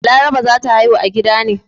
Balaraba za ta haihu a gida ne.